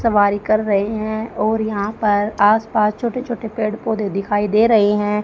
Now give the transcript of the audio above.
सवारी कर रहे हैं और यहां पर आस पास छोटे छोटे पेड़ पौधे दिखाई दे रहे हैं।